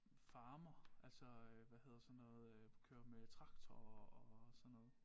Farmer altså øh hvad hedder sådan noget øh kører med traktorer og sådan noget